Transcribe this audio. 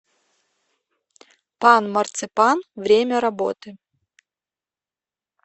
пан марципанъ время работы